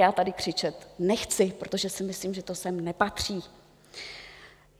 Já tady křičet nechci, protože si myslím, že to sem nepatří.